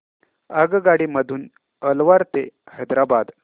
आगगाडी मधून अलवार ते हैदराबाद